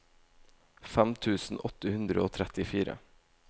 fem tusen åtte hundre og trettifire